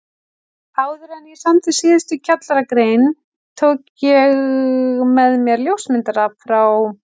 Áðuren ég samdi síðustu kjallaragrein tók ég með mér ljósmyndara frá